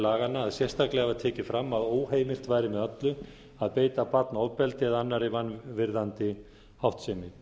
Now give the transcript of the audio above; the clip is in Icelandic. laganna að sérstaklega var tekið fram að óheimilt væri með öllu að beita barn ofbeldi eða annarri vanvirðandi háttsemi